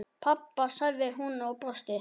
Pabba? sagði hún og brosti.